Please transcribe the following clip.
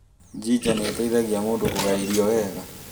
Ginger nĩ ĩteithagia mũndũ kũgaya irio wega.